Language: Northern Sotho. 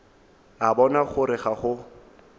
a bona gore ga go